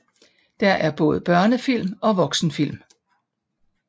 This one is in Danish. Der er både børnefilm og voksenfilm